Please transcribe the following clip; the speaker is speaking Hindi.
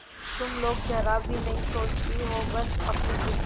तुम लोग जरा भी नहीं सोचती हो बस अपनी जिद